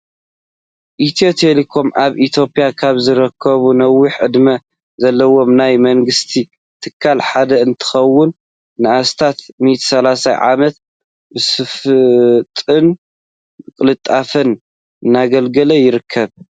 ኢትዮ ቴሌኮም ኣብ ኢትዮጵያ ካብ ዝርከቡ ነዊሕ ዕድመ ዘለዎም ናይ መንግስቲ ትካላት ሓደ እንትኾውን ንኣስታት 130 ዓመታት ብፅፈትን ብቅልጥፍናን እናገልገለ ይርከብ።